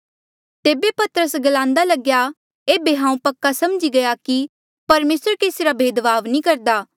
तेबे पतरस ग्लान्दा लगेया एेबे हांऊँ पक्का समझी गया कि परमेसर केसी रा भेदभाव नी करदा